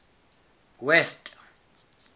west